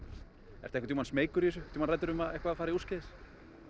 ertu einhvern tímann smeykur í þessu tímann hræddur um að eitthvað fari úrskeiðis